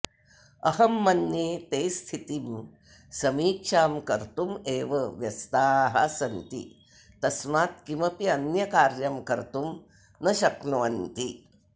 अहं मन्ये ते स्थितिं समीक्षां कर्तुम् एव व्यस्ताः सन्ति तस्मात् किमपि अन्यकार्यं कर्तुं न शक्नुवन्ति